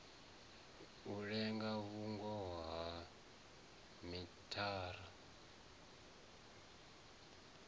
a linge vhungoho ha mithara